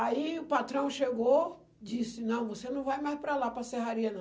Aí, o patrão chegou, disse, não, você não vai mais para lá, para a serraria, não.